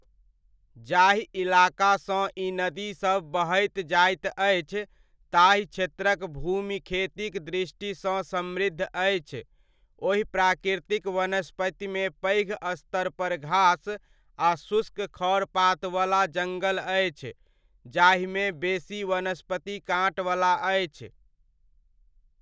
जाहि इलाकासँ ई नदीसभ बहैत जाइत अछि, ताहि क्षेत्रक भूमि खेतीक दृष्टिसँ समृद्ध अछि, ओहि प्राकृतिक वनस्पतिमे पैघ स्तरपर घास आ शुष्क खढ़ पातवला जङ्गल अछि, जाहिमे बेसी वनस्पति काँटवला अछि।